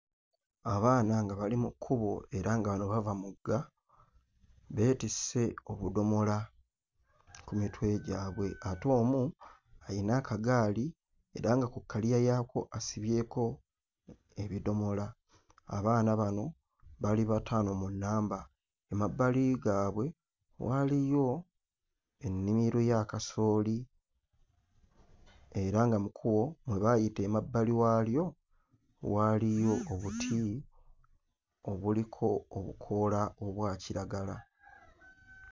Abaana nga bali mu kkubo era nga wano bava mugga beetisse obudomola ku mitwe gyabwe ate omu ayina akagaali era nga ku kkaliya yaako asibyeko ebidomola. Abaana bano bali bataano mu nnamba. Emabbali gaabwe waaliyo ennimiro ya kasooli era nga mu kkubo mwe baayita emabbali waalyo waaliyo obuti obuliko obukoola obwa kiragala.